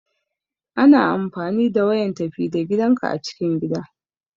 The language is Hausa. Ana amfani da wayan tafi da gidanka a cikin gida.